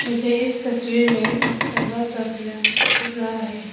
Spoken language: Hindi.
मुझे इस तस्वीर में लंबा सा पिरामिड दिख रहा है।